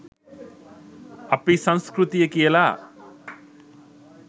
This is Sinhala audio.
අපි සංස්කෘතිය කියලා